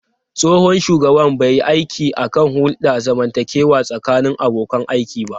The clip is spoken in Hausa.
Tsohon shugaban bai yi aiki kan hulɗar zamantakewa tsakanin abokan aiki ba.